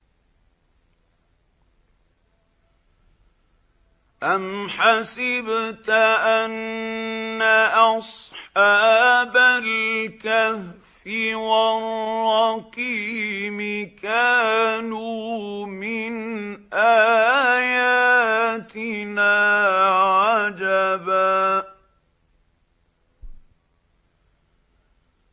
أَمْ حَسِبْتَ أَنَّ أَصْحَابَ الْكَهْفِ وَالرَّقِيمِ كَانُوا مِنْ آيَاتِنَا عَجَبًا